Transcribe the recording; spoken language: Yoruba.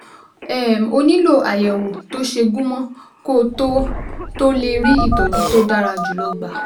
um O nílò àyẹ̀wò tó ṣe gúnmọ́ kó o tó o tó lè rí ìtọ́jú tó dára jùlọ gbà